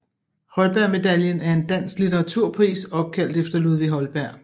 Holbergmedaljen er en dansk litteraturpris opkaldt efter Ludvig Holberg